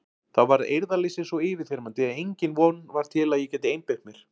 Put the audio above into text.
Þá varð eirðarleysið svo yfirþyrmandi að engin von var til að ég gæti einbeitt mér.